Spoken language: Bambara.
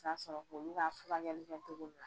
Kasɔrɔ k'olu ka furakɛli kɛtogo la